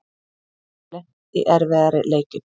Hef lent í erfiðari leikjum